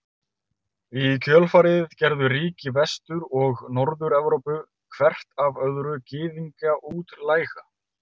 Í kjölfarið gerðu ríki Vestur- og Norður-Evrópu hvert af öðru Gyðinga útlæga.